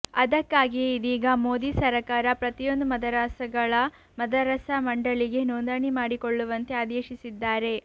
ಅದಕ್ಕಾಗಿಯೇ ಇದೀಗ ಮೋದಿ ಸರಕಾರ ಪ್ರತಿಯೊಂದು ಮದರಸಾಗಳು ಮದರಸಾ ಮಂಡಳಿಗೆ ನೊಂದಣಿ ಮಾಡಿಕೊಳ್ಳುವಂತೆ ಆದೇಶಿಸಿದ್ದಾರೆ